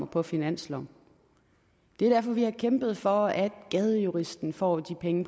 på finansloven det er derfor vi har kæmpet for at gadejuristen får de penge